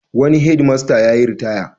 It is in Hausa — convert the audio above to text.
Wani hedmasta yayiritaya.